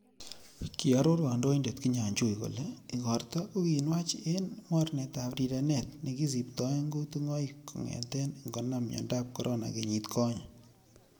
Kiaror kandoindet Kinjajui kole igorto ko kinwach en mornetab rirenet nekisiptoen kutungoik, kongeten ingonam miondab corona kenyit konyee.